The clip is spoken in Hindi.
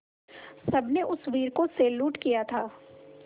सबने उस वीर को सैल्यूट किया था